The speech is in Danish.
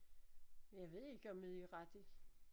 Men jeg ved ikke om det er rigtigt